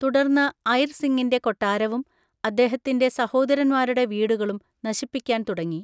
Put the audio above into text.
തുടർന്ന് ഐർ സിങ്ങിന്‍റെ കൊട്ടാരവും അദ്ദേഹത്തിന്‍റെ സഹോദരന്മാരുടെ വീടുകളും നശിപ്പിക്കാന്‍ തുടങ്ങി.